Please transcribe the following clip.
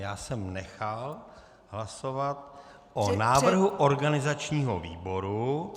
Já jsem nechal hlasovat o návrhu organizačního výboru -